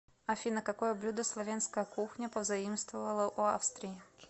афина какое блюдо словенская кухня позаимствовала у австрии